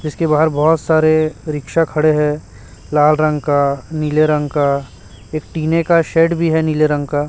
इसके बाहर बहोत सारे रिक्शा खड़े है लाल रंग का नीले रंग का एक टिने का शेड भी है नीले रंग का --